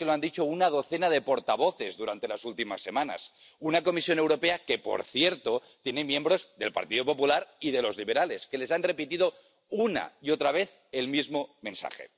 Es que lo han dicho una docena de portavoces durante las últimas semanas. Una Comisión Europea que, por cierto, tiene miembros del Partido Popular Europeo y de los liberales —que les han repetido una y otra vez el mismo mensaje—.